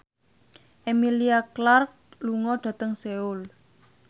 Emilia Clarke lunga dhateng Seoul